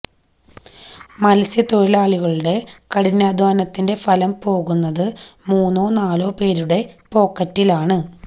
മത്സ്യത്തൊഴിലാളികളുടെ കഠിനാധ്വാനത്തിന്റെ ഫലം പോകുന്നത് മൂന്നോ നാലോ പേരുടെ പോക്കറ്റിലാണ്